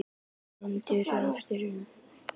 Blikar saddir eftir fyrsta róður?